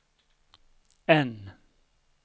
N